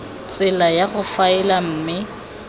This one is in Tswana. tsela ya go faela mme